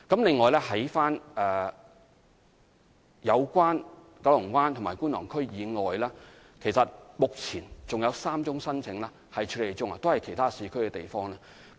此外，在九龍灣及觀塘區以外，目前還有3宗申請正在處理中，涉及的都是其他市區的地方。